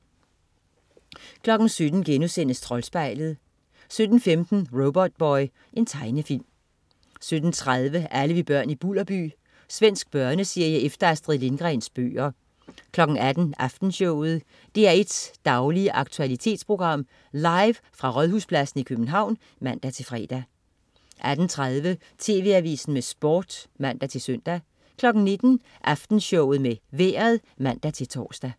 17.00 Troldspejlet* 17.15 Robotboy. Tegnefilm 17.30 Alle vi børn i Bulderby. Svensk børneserie efter Astrid Lindgrens bøger 18.00 Aftenshowet. DR1's daglige aktualitetsprogram, live fra Rådhuspladsen i København (man-fre) 18.30 TV Avisen med Sport (man-søn) 19.00 Aftenshowet med Vejret (man-tors)